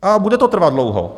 A bude to trvat dlouho.